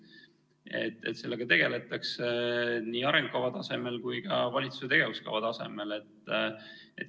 Nii et sellega tegeldakse nii arengukava tasemel kui ka valitsuse tegevuskava tasemel.